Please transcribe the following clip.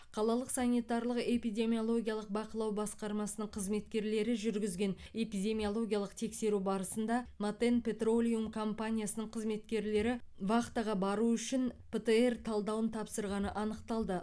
қалалық санитарлық эпидемиологиялық бақылау басқармасының қызметкерлері жүргізген эпидемиологиялық тексеру барысында матен петролиум компаниясының қызметкерлері вахтаға бару үшін птр талдауын тапсырғаны анықталды